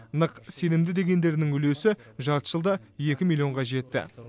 нық сенімді дегендерінің үлесі жарты жылда екі миллионға жетті